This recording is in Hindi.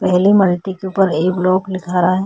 पहले मल्टी के ऊपर ए ब्लॉक लिखा रहा है।